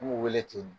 N b'u wele ten